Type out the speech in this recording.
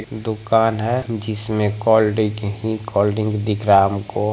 दुकान है जिसमें कोल्ड-ड्रिंक ही कोल्ड-ड्रिंक दिख रहा हमको।